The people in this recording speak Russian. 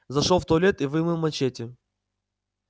зашёл в туалет и вымыл мачете